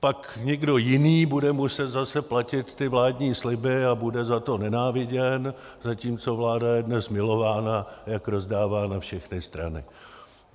Pak někdo jiný bude muset zase platit ty vládní sliby a bude za to nenáviděn, zatímco vláda je dnes milována, jak rozdává na všechny strany.